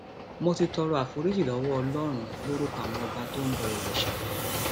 mo ti tọrọ àforíjì lọwọ ọlọrun lórúkọ àwọn ọba tó ń bọ òrìṣà